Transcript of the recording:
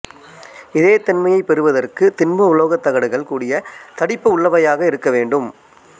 இதே தன்மையைப் பெறுவதற்குத் திண்ம உலோகத் தகடுகள் கூடிய தடிப்பு உள்ளவையாக இருக்கவேண்டும்